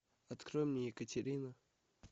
открой мне екатерина